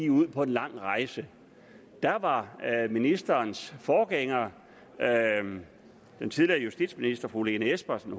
ud på en lang rejse der var ministerens forgænger den tidligere justitsminister fru lene espersen